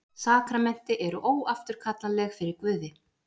Sakramenti eru óafturkallanleg fyrir Guði.